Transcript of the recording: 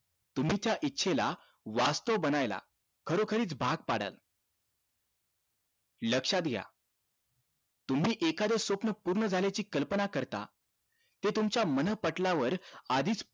तुमच्या इच्छेला वास्थव बनायला खरोखरीच भाग पाडाल लक्षात घ्या तुम्ही एखाद स्वप्न पूर्ण झाल्याची कल्पना करता ते तुमच्या मनःपटलावर आधीच